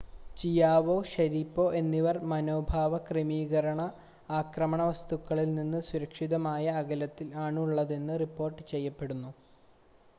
Chiao Sharipov എന്നിവർ മനോഭാവ ക്രമീകരണ ആക്രമണ വസ്തുക്കളിൽനിന്ന് സുരക്ഷിതമായ അകലത്തിൽ ആണുള്ളതെന്ന് റിപ്പോർട്ട് ചെയ്യപ്പെടുന്നു